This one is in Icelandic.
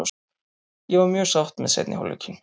Ég var mjög sátt með seinni hálfleikinn.